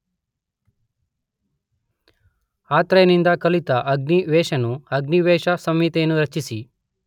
ಅತ್ರೇಯನಿಂದ ಕಲಿತ ಅಗ್ನಿವೇಶನು ಅಗ್ನಿವೇಶಸಂಹಿತೆಯನ್ನು ರಚಿಸಿ